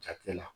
Jatilɛ la